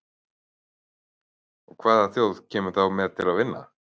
Og hvaða þjóð kemur þá til með að vinna?